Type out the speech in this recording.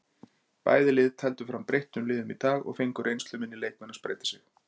Bæði lið tefldu fram breyttum liðum í dag og fengu reynsluminni leikmenn að spreyta sig.